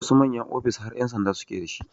Wasu manyan ofis har ƴan sanda suke d